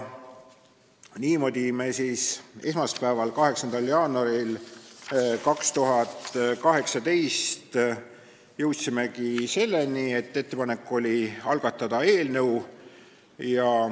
Niimoodi me siis esmaspäeval, 8. jaanuaril 2018 jõudsimegi selleni, et hääletasime ettepanekut algatada eelnõu.